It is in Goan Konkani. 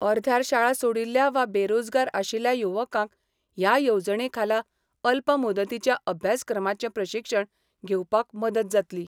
अर्ध्यार शाळा सोडिल्ल्या वा बेरोजगार आशिल्ल्या युवकांक हया येवजणेखाला अल्प मुदतीच्या अभ्यासक्रमाचे प्रशिक्षण घेवपाक मदत जातली.